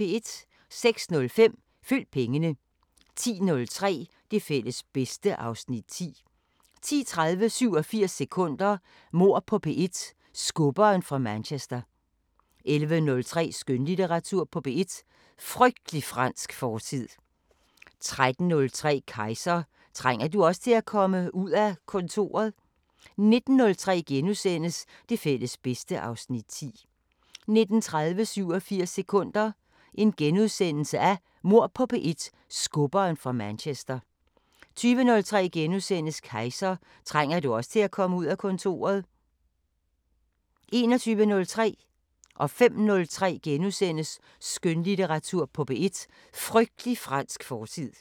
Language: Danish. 06:05: Følg pengene 10:03: Det fælles bedste (Afs. 10) 10:30: 87 sekunder – Mord på P1: Skubberen fra Manchester 11:03: Skønlitteratur på P1: Frygtelig fransk fortid 13:03: Kejser: Trænger du også til at komme ud af kontoret? 19:03: Det fælles bedste (Afs. 10)* 19:30: 87 sekunder – Mord på P1: Skubberen fra Manchester * 20:03: Kejser: Trænger du også til at komme ud af kontoret? * 21:03: Skønlitteratur på P1: Frygtelig fransk fortid * 05:03: Skønlitteratur på P1: Frygtelig fransk fortid *